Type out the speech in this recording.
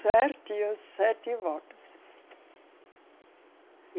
Certinho, sete votos.